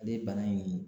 Ale bana in